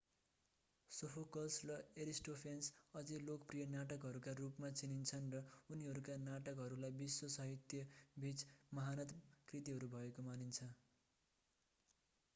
Sophocles र Aristophanes अझै लोकप्रिय नाटककारहरू हुन् र उनीहरूका नाटकहरूलाई विश्व साहित्यबीच महानतम कृतिहरू भएको मानिन्छ